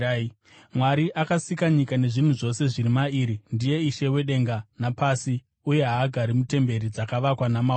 “Mwari akasika nyika nezvinhu zvose zviri mairi ndiye Ishe wedenga napasi uye haagari mutemberi dzakavakwa namaoko.